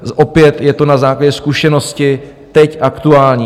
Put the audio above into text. Opět je to na základě zkušenosti teď aktuální.